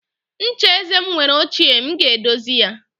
Ncha eze m mere ochie, m ga-edozi ya.